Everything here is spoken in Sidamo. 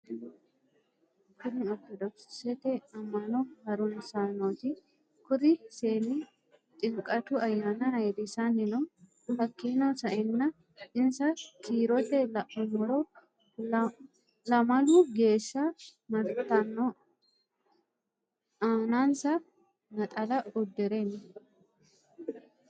Kunni orittodoxete amano harunisaanoti kuri seeni xinqatu ayyana ayirisani no hakiino sa'eena insa kiirote la'anumoro lamalu géeshsha maritano aanansa naxala udirre no.